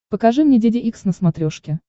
покажи мне деде икс на смотрешке